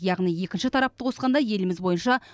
яғни екінші тарапты қосқанда еліміз бойынша